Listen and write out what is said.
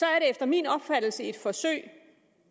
er det efter min opfattelse et forsøg